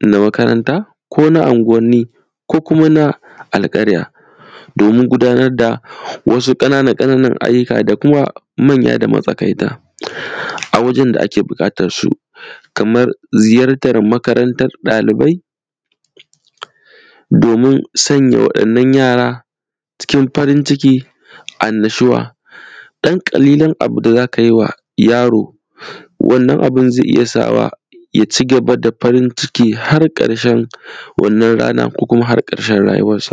na makaranta kona anguwani ko kuma na alkarya domin gudanar da wasu ƙanana-ƙananan ayyuka da kuma manya da matsakaita a wajen da ake bukatansu kamar ziyartar makarantan ɗalibai domin sanya wa’inna yara cikin farin ciki annashuwa dan kalilan abinda zaka yiwa yaro wannan abun zai iya sawa ya ci gaba da farin ciki har karshen wannan rana ko har karshen rayuwan shi.